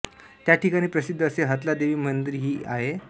त्या ठिकाणी प्रसिद्ध असे हतलादेवी मंदिर ही आहे